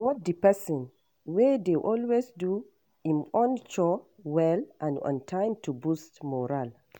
Reward di person wey dey always do im own chore well and on time to boost morale